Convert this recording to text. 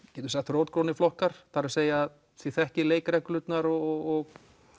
rótgrónir flokkar það er að þið þekkið leikreglurnar og